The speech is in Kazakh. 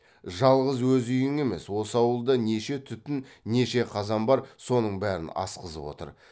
жалғыз өз үйің емес осы ауылда неше түтін неше қазан бар соның бәрін асқызып отыр